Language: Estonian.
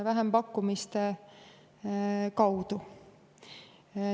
Vähempakkumiste kaudu.